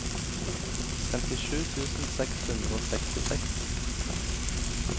femtisju tusen seks hundre og sekstiseks